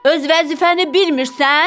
Öz vəzifəni bilmirsən?